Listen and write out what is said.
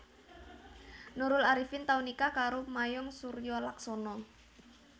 Nurul Arifin tau nikah karo Mayong Suryolaksono